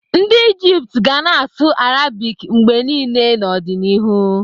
Ndị Ijipt ga na-asụ Arabic mgbe niile n'ọdịnihu.